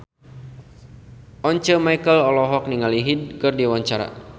Once Mekel olohok ningali Hyde keur diwawancara